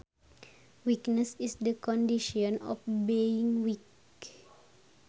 Weakness is the condition of being weak